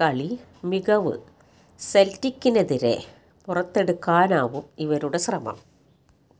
കളി മികവ് സെൽറ്റിക്കിനെതിരെ പുറത്തെടുക്കാനാവും ഇവരുടെ ശ്രമം